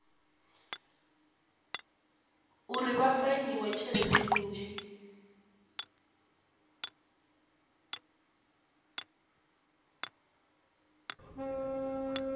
uri vha fainiwe tshelede nnzhi